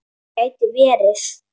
Það gæti verið